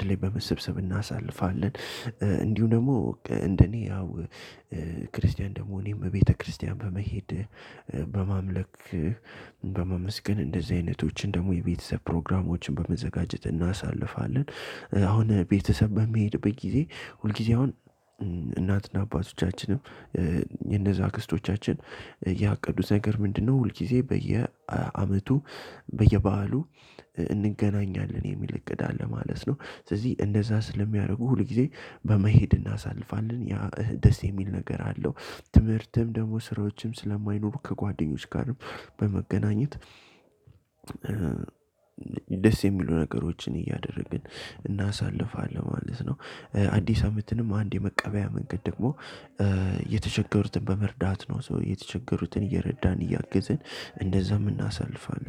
የማደርገው ነገር ቢኖር እንዲሁም ደግሞ እንደ እኔ ያው ክርስቲያን እንደመሆኔም ቤተክርስቲያን በመሄድ በማምለክ በማመስገን እንደዚህ አይነቶችን ደግሞ የቤተሰብ ፕሮግራሞችን በመዘጋጀት እናሳልፋለን። አሁን ቤተሰብ በሚሄድበት ጊዜ ሁል ጊዜ አሁን እናት እና አባቶቻችንም የእነዛ አክስቶቻችን ያቀዱት ነገር ምንድነው? ሁል ጊዜ በየአመቱ በየበዓሉ እንገናኛለን የሚል እቅድ አለ ማለት ነው። ስለዚህ እንደዛ ስለሚያደርጉ ሁል ጊዜ በመሄድ እናሳልፋለን ያ ደስ የሚል ነገር አለው። ትምህርትም ደግሞ ስራዎችም ስለማይኖሩ ከጓደኞች ጋርም በመገናኘት ደስ የሚሉ ነገሮችን እያደረግን እናሳልፋለን ማለት ነው። አዲስ አመትንም አንድ የመቀበያ መንገድ ደግሞ የተቸገሩትን በመርዳት ነው። ሶ የተቸገሩትን እየረዳን እያግዝን እንደዛም የምናሳልፈን